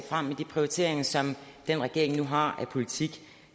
frem med de prioriteringer som den regering nu har af politik